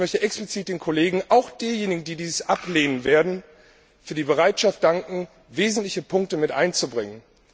Aber ich möchte explizit den Kollegen, auch denjenigen, die dies ablehnen werden, für die Bereitschaft danken, wesentliche Punkte mit einzubringen.